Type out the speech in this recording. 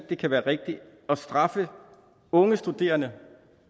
det kan være rigtigt at straffe unge studerende